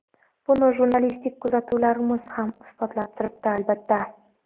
Buni jurnalistik kuzatuvlarimiz ham isbotlab turibdi, albatta.